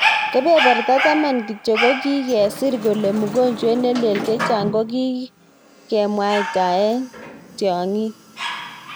Kebeberta taman kityo kokikesir kole mugojwet nelel chechang kokikemwataek tyang'ik.